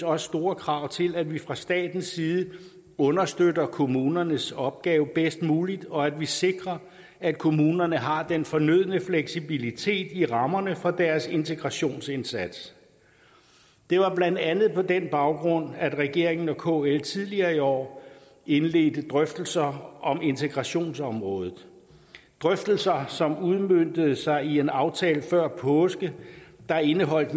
også store krav til at vi fra statens side understøtter kommunernes opgave bedst muligt og at vi sikrer at kommunerne har den fornødne fleksibilitet i rammerne for deres integrationsindsats det var blandt andet på den baggrund at regeringen og kl tidligere i år indledte drøftelser om integrationsområdet drøftelser som udmøntede sig i en aftale før påske der indeholdt